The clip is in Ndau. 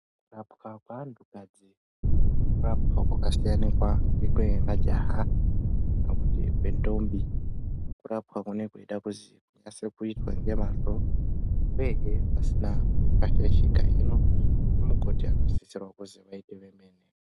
Kurapwa kweanhukadzi kurapwa kwakasiyanikwa nekwemajaha kana kuti kwendombi. Kurapwa kunenge kweida kuzi kunase kuitwa ngemwazvo uyezve pasina panenge pashaishika. Hino anamukoti anosisirwa kuzi vaite vemene.